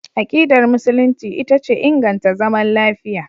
Akidar Musulunci ita ce inganta zaman lafiya.